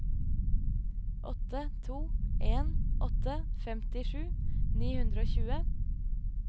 åtte to en åtte femtisju ni hundre og tjue